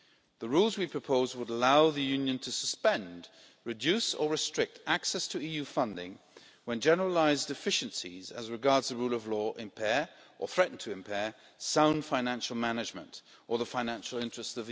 The rules we propose would allow the Union to suspend, reduce or restrict access to EU funding when generalised deficiencies as regards the rule of law impair or threaten to impair sound financial management or the Union's financial interest.